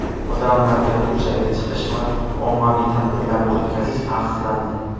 Odamlarga ko‘chaga chiqish va ommaviy tadbirlarni o‘tkazish taqiqlandi.